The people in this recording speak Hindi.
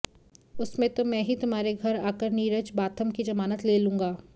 उसमें तो मैं ही तुम्हारे घर आकर नीरज बाथम की जमानत ले लूंगा